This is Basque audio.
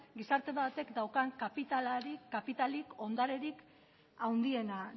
gizarte batek daukan kapitalik ondarerik handiena